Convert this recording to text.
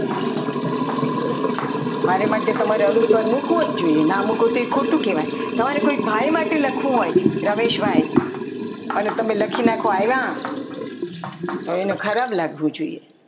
મારી માટે તમારે અનુસ્વાર મૂકવો જ જોઈએ ના મૂકો તો એ ખોટું કહેવાય તમારે કોઈ ભાઈ માટે લખવું હોય રમેશભાઈ અને તમે લખો કે રમેશભાઈ આવ્યા તો એને ખરાબ લાગવું જોઈએ